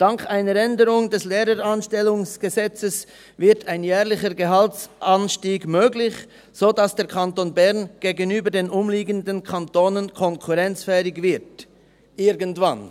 Dank einer Änderung des Gesetzes über die Anstellung der Lehrkräfte (LAG) wird ein jährlicher Gehaltsanstieg möglich, sodass der Kanton Bern gegenüber den umliegenden Kantonen konkurrenzfähig wird – irgendwann.